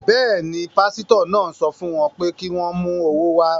Bẹ́ẹ̀ ni, pásítọ̀ náà ń sọ fún wọn pé kí wọ́n mú owó wá.